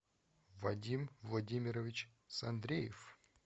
вадим владимирович сандреев